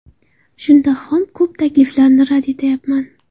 Shundoq ham ko‘p takliflarni rad etayapman.